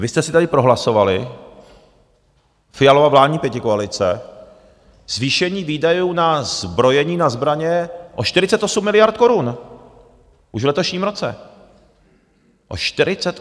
Vy jste si tady prohlasovali, Fialova vládní pětikoalice, zvýšení výdajů na zbrojení, na zbraně, o 48 miliard korun už v letošním roce.